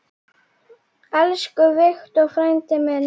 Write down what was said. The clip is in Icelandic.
Elsku Victor frændi minn.